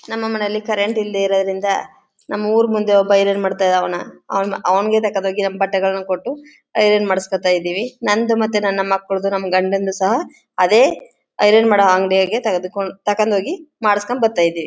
ನಮ್ಮ ಮನೆಯಲ್ಲಿ ಕರೆಂಟ್ ಇಲ್ದೇ ಇರೋದ್ರಿಂದ ನಮ್ಮ ಊರು ಮುಂದೆ ಒಬ್ಬ ಐರನ್ ಮಾಡ್ತಾನೆ ಅವನ ಅವನಿಗೆ ಬೇಕಾದಾಗೆ ಬಟ್ಟೆಗಳನ್ನ ಕೊಟ್ಟು ಐರನ್ ಮಾಡಿಸ್ಕೊತ ಇದ್ದಿವಿ ನಂದು ಮತ್ತೆ ನಮ್ಮ ಮಕ್ಕಳದ್ದು ನಮ್ಮ ಗಂಡಂದು ಸಹ ಅದೇ ಐರನ್ ಅಂಗಡಿಗೆ ತೆಗೆದುಕೋ ತಕೊಂಡು ಹೋಗಿ ಮಾಡಿಸ್ಕೊಂಡು ಬರ್ತಾ ಇದೀವಿ.